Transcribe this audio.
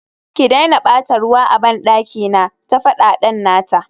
ki daina bata ruwa a bandaki na, ta fada dan nata